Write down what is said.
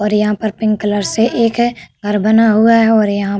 यहाँ पर pink colour से एक है घर बना हुआ है और यहाँ --